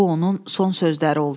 Bu onun son sözləri oldu.